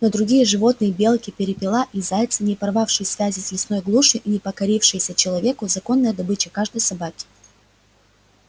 но другие животные белки перепела и зайцы не порвавшие связи с лесной глушью и не покорившиеся человеку законная добыча каждой собаки